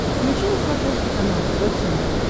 включи на смотрешке канал тв центр